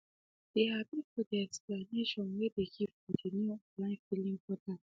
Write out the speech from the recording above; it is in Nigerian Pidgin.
they happy for the explanation way they give for the new online filling portal